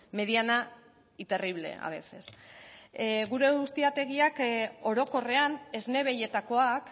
mediana y terrible a veces gure ustiategiak orokorrean esne behietakoak